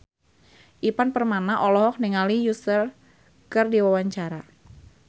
Ivan Permana olohok ningali Usher keur diwawancara